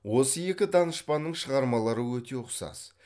осы екі данышпанның шығармалары өте ұқсас